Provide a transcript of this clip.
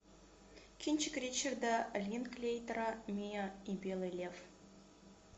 кинчик ричарда линклейтера миа и белый лев